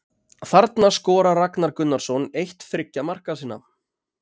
Þarna skorar Ragnar Gunnarsson eitt þriggja marka sinna